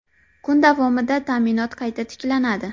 Kun davomida ta’minot qayta tiklanadi.